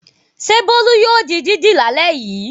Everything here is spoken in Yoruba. Ṣé Bólú yóò di dídì lálẹ́ yìí?